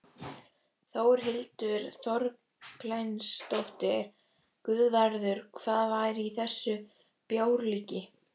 Þórhildur Þorkelsdóttir: Guðvarður, hvað var í þessu bjórlíki?